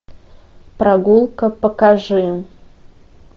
прогулка покажи